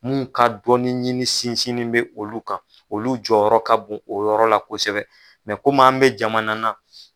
Mun ka dɔnni ɲini sinsin bɛ olu kan olu jɔyɔrɔ ka bon o yɔrɔ la kosɛbɛ kɔmi an mɛ jamana na